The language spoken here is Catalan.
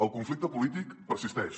el conflicte polític persisteix